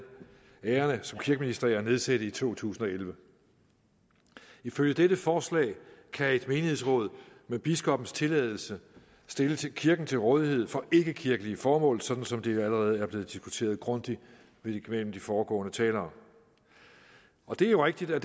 æren af som kirkeminister at nedsætte i to tusind og elleve ifølge dette forslag kan et menighedsråd med biskoppens tilladelse stille kirken til rådighed for ikkekirkelige formål sådan som det allerede er blevet diskuteret grundigt af de foregående talere det er jo rigtigt at